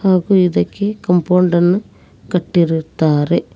ಹಾಗು ಇದಕ್ಕೆ ಕಂಪೌಂಡ ಅನ್ನು ಕಟ್ಟಿರುತ್ತಾರೆ.